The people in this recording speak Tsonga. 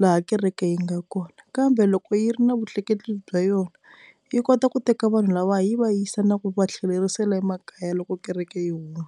laha kereke yi nga kona, kambe loko yi ri na vutleketli bya yona yi kota ku teka vanhu lava yi va yisa na ku va tlhelerisela emakaya loko kereke yi huma.